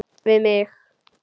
Við mig.